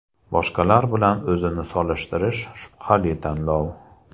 Boshqalar bilan o‘zini solishtirish shubhali tanlov.